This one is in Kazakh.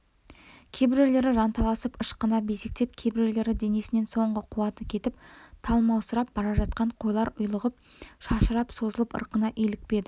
кейбіреулері жанталасып ышқына безектеп кейбіреулері денесінен соңғы қуаты кетіп талмаусырап бара жатқан қойлар ұйлығып шашырап созылып ырқына илікпеді